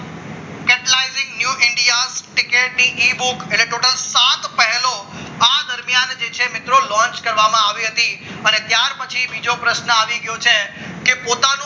security e book એટલે કુલ total સાત પહેલો આ દરમિયાન જે છે મિત્રો launch કરવામાં આવી હતી અને ત્યાર પછી બીજો પ્રશ્ન આવી ગયો છે કે પોતાના